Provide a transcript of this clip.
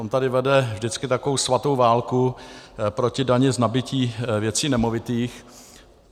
On tady vede vždycky takovou svatou válku proti dani z nabytí věcí nemovitých.